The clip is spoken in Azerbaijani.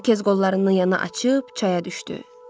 İrokez qollarını yana açıb çaya düşdü.